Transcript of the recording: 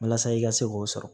Walasa i ka se k'o sɔrɔ